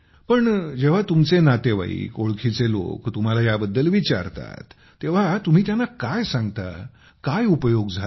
पण जेव्हा तुमचे नातेवाईक ओळखीचे लोक तुम्हाला याबद्दल विचारतात तेव्हा तुम्ही त्यांना काय सांगता काय उपयोग झाला